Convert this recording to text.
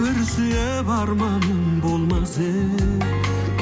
бір сүйіп арманым болмас еді